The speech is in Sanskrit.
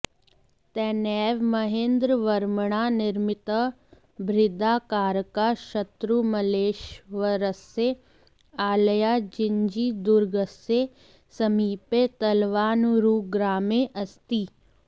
तेनैव महेन्द्रवर्मणा निर्मितः बृहदाकारकः शत्रुमल्लेश्वरस्य आलयः जिञ्जीदुर्गस्य समीपे तलवानूरुग्रामे अस्ति